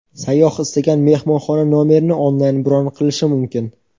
Sayyoh istagan mehmonxona nomerini onlayn bron qilishi mumkin.